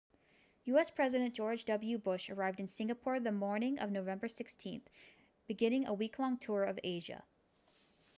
u.s. president george w bush arrived in singapore the morning of november 16 beginning a week-long tour of asia